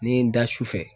Ni n ye n da su fɛ